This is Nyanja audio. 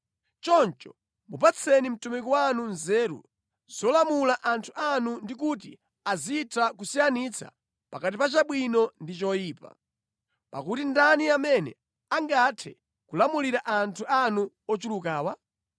Choncho mupatseni mtumiki wanu nzeru zolamulira anthu anu ndi kuti azitha kusiyanitsa pakati pa chabwino ndi choyipa. Pakuti ndani amene angathe kulamulira anthu anu ochulukawa?”